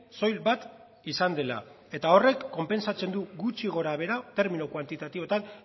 soil bat izan dela eta horrek konpentsatzen du gutxi gorabehera termino kuantitatiboetan